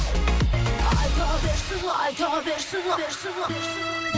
айта берсін айта берсін